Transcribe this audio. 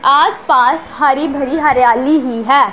आस पास हरी भरी हरियाली ही है।